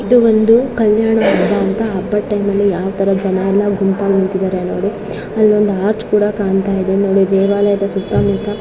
ಇದು ಒಂದು ಕಲ್ಯಾಣ ಹಬ್ಬ ಅಂತ ಹಬ್ಬದ ಟೈಮ್ ಅಲ್ಲಿ ಯಾವ್ ತಾರಾ ಜನಯೆಲ್ಲ ಗುಂಪಾಗಿ ನಿಂತಿದ್ದಾರೆ ನೋಡಿ. ಅಲ್ಲ ಒಂದ್ ಆರ್ಚ್ ಕೂಡ ಕಾನ್ತಾಯಿದೆ. ನೋಡಿ ದೇವಾಲಯದ ಸುತ್ತಾ ಮುತ್ತಾ.